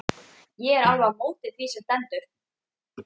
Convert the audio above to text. Ég er alveg á móti því sem stendur.